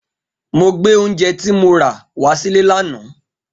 Mo gbé oúnjẹ tí mo rà wá sílé lánàá